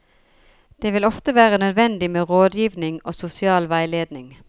Det vil ofte være nødvendig med rådgivning og sosial veiledning.